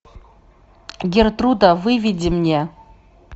гертруда выведи мне